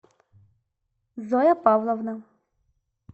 зоя павловна